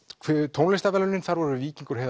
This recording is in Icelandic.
tónlistarverðlaunin þar voru Víkingur